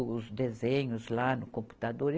os desenhos lá no computador.